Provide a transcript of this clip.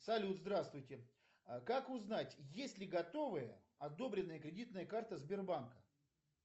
салют здравствуйте как узнать есть ли готовая одобренная кредитная карта сбербанка